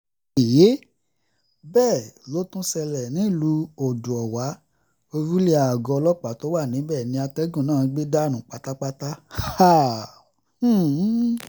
bẹ́ẹ̀ ló tún ṣẹlẹ̀ nílùú odò-ọ̀wá òrùlé aago ọlọ́pàá tó wà níbẹ̀ ni atẹ́gùn náà gbẹ dànù pátápátá